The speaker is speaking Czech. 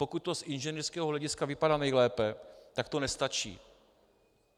Pokud to z inženýrského hlediska vypadá nejlépe, tak to nestačí.